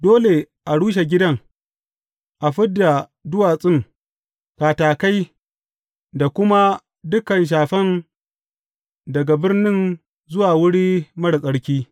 Dole a rushe gidan, a fid da duwatsun, katakai da kuma dukan shafen daga birnin zuwa wuri marar tsarki.